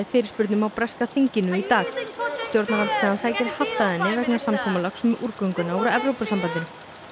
fyrirspurnum á breska þinginu í dag stjórnarandstaðan sækir hart að henni vegna samkomulags um úrgönguna úr Evrópusambandinu